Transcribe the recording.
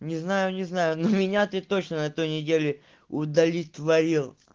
не знаю не знаю но меня ты точно на той неделе удовлетворил